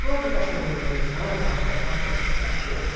Quando o cachorrinho fez um ano, vamos fazer uma festa para o cachorro.